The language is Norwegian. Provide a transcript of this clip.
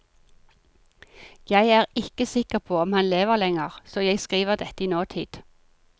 Jeg er ikke sikker på om han lever lenger, så jeg skriver dette i nåtid.